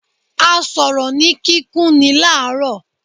A sọ̀rọ̀ ni kíkún ní laro.